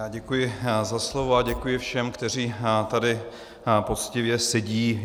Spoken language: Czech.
Já děkuji za slovo a děkuji všem, kteří tady poctivě sedí.